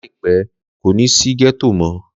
Láìpẹ́, kò ní sí gẹ́tò mọ́